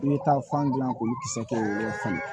I bɛ taa fan dilan k'olu kisɛ kɛ